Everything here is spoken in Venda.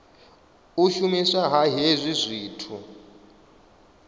u shumiswa ha hezwi zwithu